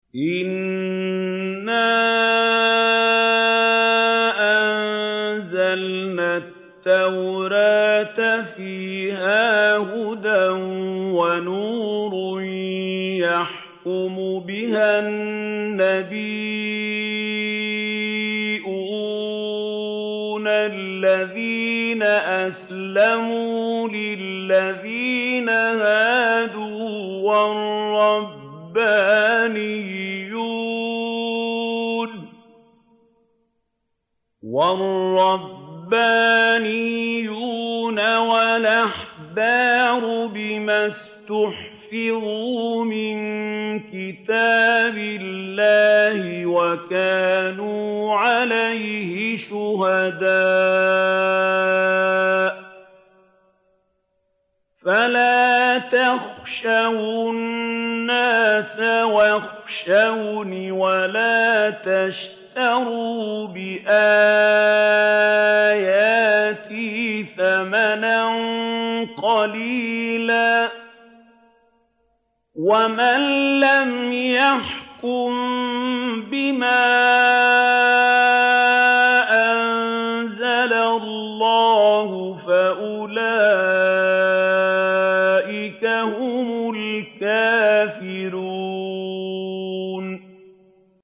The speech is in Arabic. إِنَّا أَنزَلْنَا التَّوْرَاةَ فِيهَا هُدًى وَنُورٌ ۚ يَحْكُمُ بِهَا النَّبِيُّونَ الَّذِينَ أَسْلَمُوا لِلَّذِينَ هَادُوا وَالرَّبَّانِيُّونَ وَالْأَحْبَارُ بِمَا اسْتُحْفِظُوا مِن كِتَابِ اللَّهِ وَكَانُوا عَلَيْهِ شُهَدَاءَ ۚ فَلَا تَخْشَوُا النَّاسَ وَاخْشَوْنِ وَلَا تَشْتَرُوا بِآيَاتِي ثَمَنًا قَلِيلًا ۚ وَمَن لَّمْ يَحْكُم بِمَا أَنزَلَ اللَّهُ فَأُولَٰئِكَ هُمُ الْكَافِرُونَ